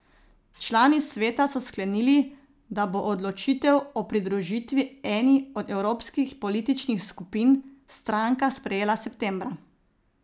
Člani sveta so sklenili, da bo odločitev o pridružitvi eni od evropskih političnih skupin stranka sprejela septembra.